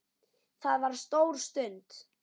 Það var stór stund.